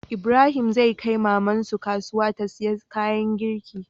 Ibrahim zai kai maman su kasuya ta siya kayan girki